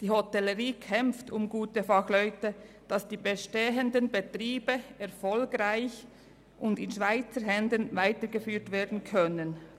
Die Hotellerie kämpft um gute Fachleute, damit die Betriebe erfolgreich weiterbestehen und in Schweizer Händen bleiben können.